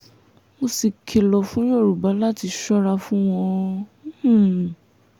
mo sì kìlọ̀ fún yorùbá láti ṣọ́ra fún wọn um